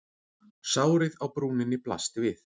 Sárið á brúninni blasti við.